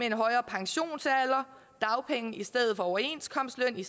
en højere pensionsalder og dagpenge i stedet for overenskomstløn i